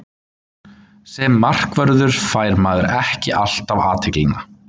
Sem markvörður fær maður ekki alltaf athyglina.